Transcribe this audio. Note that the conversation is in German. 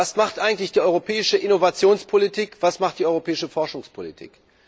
Was macht eigentlich die europäische Innovationspolitik, was macht die europäische Forschungspolitik?